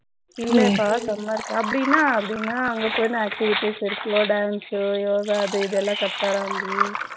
அப்படின்னா அப்படினா அங்க போயினா டீ activities இருக்க dance யோகா அது இதுன்னு கத்து தராங்கோ இல்லப்பா